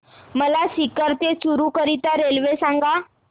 मला सीकर ते चुरु करीता रेल्वे सांगा